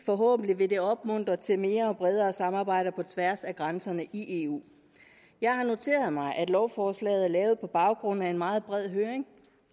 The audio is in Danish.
forhåbentlig vil det opmuntre til mere og bredere samarbejder på tværs af grænserne i eu jeg har noteret mig at lovforslaget er lavet på baggrund af en meget bred høring